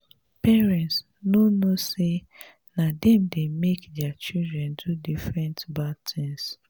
parents no know say na dem dey make their children do different bad things